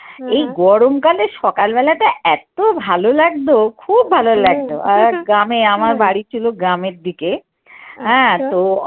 এই গরমকালে সকালবেলা টা এতো ভালো লাগতো, খুব ভালো লাগতো আর গ্রামে আমার বাড়ি ছিল গ্রামের দিকে হ্যাঁ তো